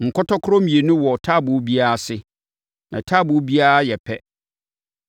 Nkɔtɔkorɔ mmienu wɔ taaboo biara ase, na taaboo biara yɛ pɛ.